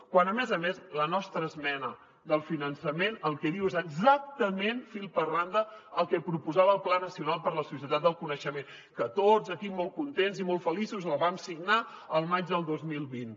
quan a més a més la nostra esmena del finançament el que diu és exactament fil per randa el que proposava el pla nacional per a la societat del coneixement que tots aquí molt contents i molt feliços el vam signar al maig del dos mil vint